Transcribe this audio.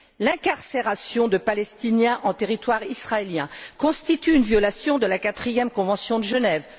L'incarcération de Palestiniens en territoire israélien constitue une violation de la quatrième convention de Genève.